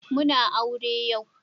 Muna aure yo